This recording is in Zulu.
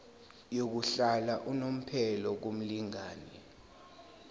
yokuhlala unomphela kumlingani